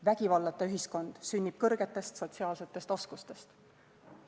Vägivallata ühiskond sünnib kõrgetest sotsiaalsetest oskustest.